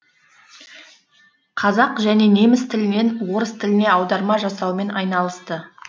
қазақ және неміс тілінен орыс тіліне аударма жасаумен айналысты